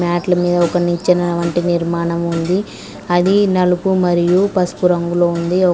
మ్యాట్లు మీద ఒక నిచ్చన వంటి నిర్మాణం ఉంది అది నలుపు మరియు పసుపు రంగులో ఉంది.